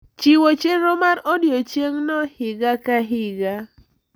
Chiwo chenro mar odiechiengno higa ka higa.